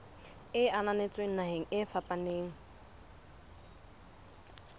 e ananetsweng naheng e fapaneng